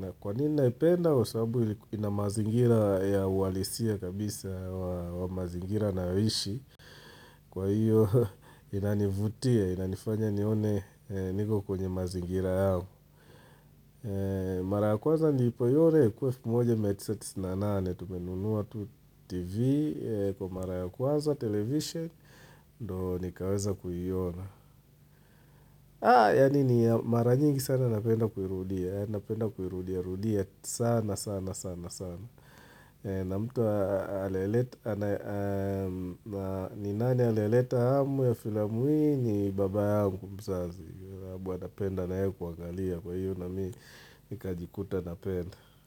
Na kwa nini naipenda? Kwa sababu ina mazingira ya uhalisia kabisa wa mazingira ninayoishi. Kwa hiyo inanivutia, inanifanya nione niko kwenye mazingira yao. Mara ya kwanza nilipoiona ilikuwa elfu moja mia tisa tisini na nane. Tumenunuwa tu TV Kwa mara ya kwanza, television Ndio nikaweza kuiona yaani ni mara nyingi sana napenda kuirudia Napenda kuirudia, rudia sana, sana, sana, sana na mtu aliyeleta ni nani aliyeleta hamu ya filamu hii ni baba yangu mzazi sababu anapenda na yeye kuangalia Kwa hiyo namii, nikajikuta napenda.